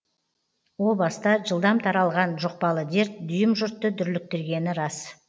о баста жылдам таралған жұқпалы дерт дүйім жұртты дүрліктіргені рас